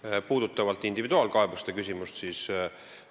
Mis puudutab individuaalkaebuste küsimust, siis